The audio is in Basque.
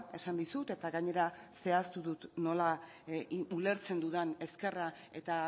esan dizut eta gainera zehaztu dut nola ulertzen dudan ezkerra eta